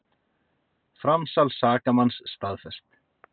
Framsal sakamanns staðfest